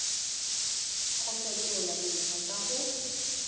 go fetola dintlha tsa gago